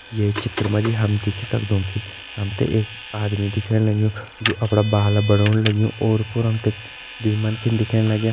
ये चित्र मा जी देखि सक्दो कि हम तें एक आदमी दिखेण लग्युं जु अपड़ा बाल बनोण लग्युं ओर पोर हम तें दुई मन्खिन दिखेण लग्यां।